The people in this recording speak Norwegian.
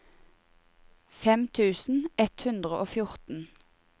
fem tusen ett hundre og fjorten